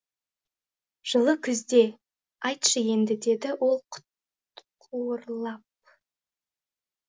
жылы күзде айтшы енді деді ол құтқуырлап